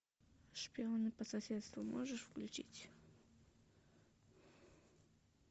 шпионы по соседству можешь включить